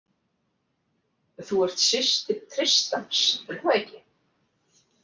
Þú ert systir Tristans, er það ekki?